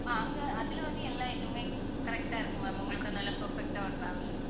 அங்க அதுல வந்து எல்லா இதுமே correct ஆ இருக்கும் ma'am உங்களுக்கு நல்லா perfect ட்டா ஒரு travel இருக்கும் ma'am